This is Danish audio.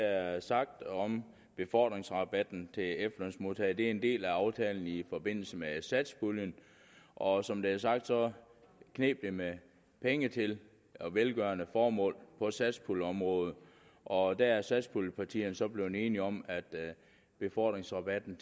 er sagt om befordringsrabatten til efterlønsmodtagere det er en del af aftalen i forbindelse med satspuljen og som det er sagt kneb det med penge til velgørende formål på satspuljeområdet og der er satspuljepartierne så blevet enige om at befordringsrabatten